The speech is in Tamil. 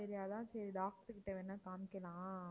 சரி அதான் சரி doctor கிட்ட வேணா காமிக்கலாம்